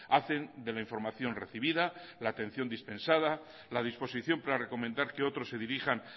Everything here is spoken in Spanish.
hacen de la información recibida la atención dispensada la disposición para recomendar que otros se dirijan